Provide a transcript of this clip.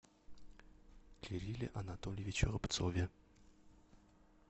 кирилле анатольевиче рубцове